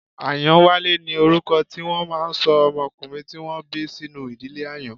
Ayanwale ni orúkọ tí wọ́n máà ń ṣọ ọmọkùnrin tí wọ́n bí sínú ìdílé Àyàn.